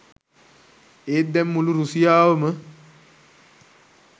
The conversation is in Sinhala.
ඒත් දැන් මුළු රුසියාවම